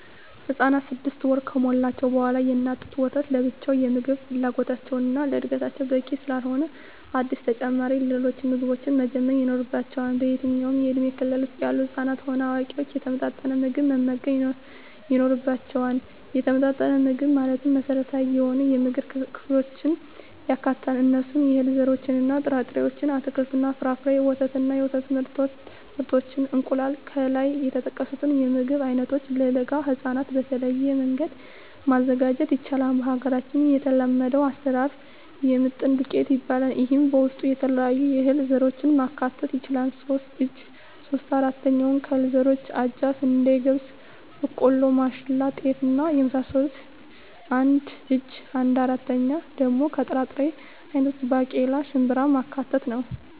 ህፃናት ስድስት ወር ከሞላቸዉ በኋላ የእናት ጡት ወተት ለብቻዉ የምግብ ፍላጎታቸዉን እና ለእድገታቸዉ በቂ ስላልሆነ አዲስ ተጨማሪ ሌሎች ምግቦችን መጀመር ይኖሮባቸዋል በየትኛዉም የእድሜ ክልል ዉስጥ ያሉ ህፃናትም ሆነ አዋቂዎች የተመጣጠነ ምግብ መመገብ ይኖርባየዋል የተመጣጠነ ምግብ ማለት መሰረታዊ የሆኑየምግብ ክፍሎችን ያካትታል እነርሱም - የእህል ዘሮችእና ጥራጥሬዎች - አትክልትና ፍራፍሬ - ወተት እና የወተት ምርቶች - እንቁላል ከላይ የተጠቀሱትን የምግብ አይነቶች ለለጋ ህፃናት በተለየ መንገድ ማዘጋጀት ይቻላል በሀገራችን የተለመደዉ አሰራር የምጥን ዱቄት ይባላል ይሄም በዉስጡ የተለያዩ የእህል ዘሮችን ማካተት ይቻላል ሶስት እጂ (3/4) ከእህል ዘሮች አጃ፣ ስንዴ፣ ገብስ፣ ቦቆሎማሽላ፣ ጤፍ እና የመሳሰሉት አንድ እጂ(1/4)ደሞ ከጥራጥሬ አይነቶች ባቄላ፣ ሽንብራማካተት ነዉ